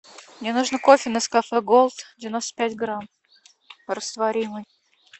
мне нужно кофе нескафе голд девяносто пять грамм растворимый